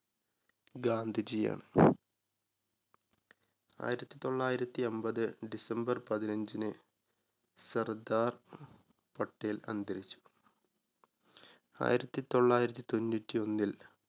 ഗാന്ധിജിയാണ്. ആയിരത്തി തൊള്ളായിരത്തി അമ്പത് december പതിനഞ്ചിന് സർദാർ പട്ടേൽ അന്തരിച്ചു. ആയിരത്തി തൊള്ളായിരത്തി തൊണ്ണൂറ്റിഒന്നിൽ